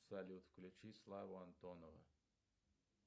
салют включи славу антонова